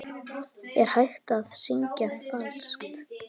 Er hægt að syngja falskt?